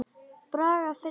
Braga finnst þetta líka.